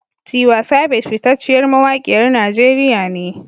Tiwa Savage fitacceyar mawakiyar Najeriya ne.